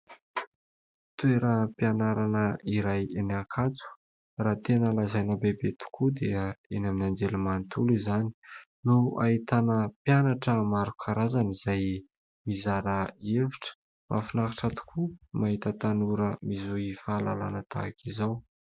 Toeram-pianarana iray ny Ankatso. Raha tena lazaina bebe tokoa dia eny amin'ny anjerimanontolo izany no ahitana mpianatra maro karazana izay mizara hevitra. Mahafinahitra tokoa mahita tanora mizohy fahalalana tahaka izao.